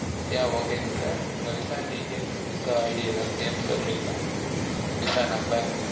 yeah okay ங் sir உங்க visa details visaID எதாச்சும் name சொல்றிங்களா visa number